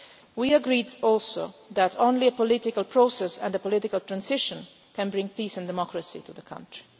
We also agreed that only a political process and a political transition can bring peace and democracy to the country.